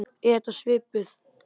Er þetta svipuð